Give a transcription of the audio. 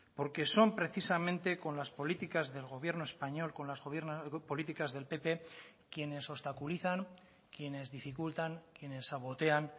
porque son precisamente con las políticas del gobierno español con las políticas del pp quienes obstaculizan quienes dificultan quienes sabotean